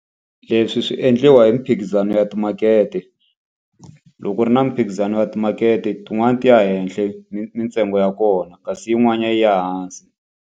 Leswi swi endliwa hi miphikizano ya timakete. Loko u ri na miphikizano ya timakete tin'wani ti ya henhle mintsengo ya kona, kasi yin'wanyana yi ya hansi.